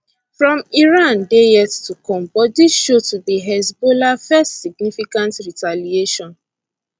from iran dey yet to come but dis show to be hezbollah first significant retaliation